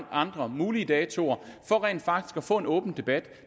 andre mulige datoer for rent faktisk at få en åben debat